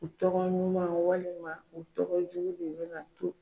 U tɔgɔ ɲuman walima u tɔgɔ jugu de bɛna to.